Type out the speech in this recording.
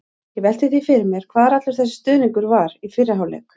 Ég velti því fyrir mér hvar allur þessi stuðningur var í fyrri hálfleik?